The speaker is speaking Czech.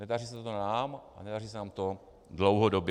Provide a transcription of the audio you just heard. Nedaří se to nám a nedaří se nám to dlouhodobě.